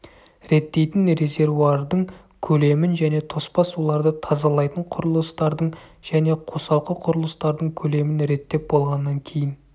реттейтін резервуардың көлемін және тоспа суларды тазалайтын құрылыстардың және қосалқы құрылыстардың көлемін реттеп болғаннан кейін